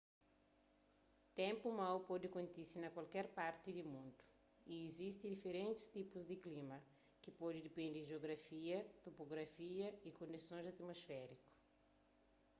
ténpu mau pode kontise na kualker parti di mundu y izisti diferentis tipus di klima ki pode depende di jiografia topografia y kondisons atumosfériku